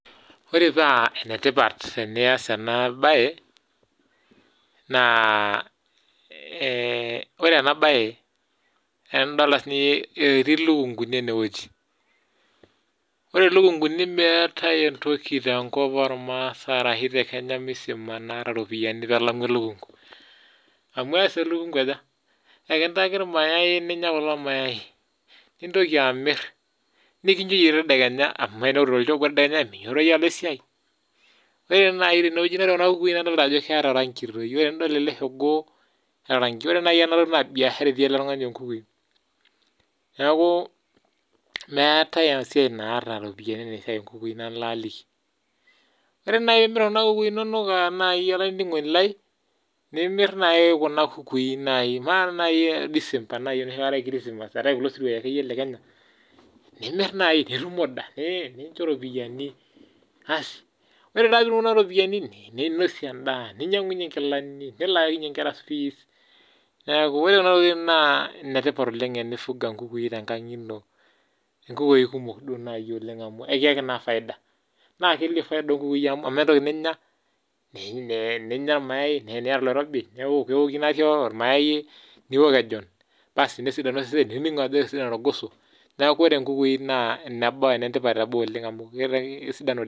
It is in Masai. ore paa enetipat tiniyas ena baye naa ore ena baye etii ilukunkuni ene weji ore elekunku naa meeta entoki naata iropiyiani naijo elukunku, amu ees elukunku aja ekintaki ilmayai nintoki amir nikunyoyie tedekenya, ore kuna kukui tinidol naa keeta iropiyiani, neeku meetae esiai naa iropiyiani naijio enoo inkukui nanu laajoki ore naaji tinimir kuna kukui nimir naaji disemba enakata eetae isiruai naaji naijo kulo lekenya nimir naaji nitum iyie iropiyiani, ninosie daa ninyang'unyie inkilani nilaakinyie inkera fees, neeku enetipat enasiai oleng' ore naaji pee iwok olmayai nikinchuunyie ilgoso.